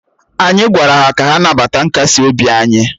Anyị gwara ha ka ha nabata nkasi obi anyị